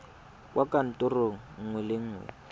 kwa kantorong nngwe le nngwe